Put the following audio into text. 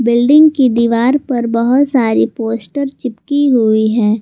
Building की दीवार पर बहोत सारी पोस्ट चिपकी हुई है।